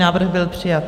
Návrh byl přijat.